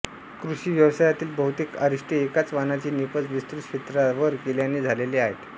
कृषि व्यवसायातील बहुतेक अरिष्टे एकाच वाणाची निपज विस्तृत क्षेत्रावर केल्याने झालेले आहेत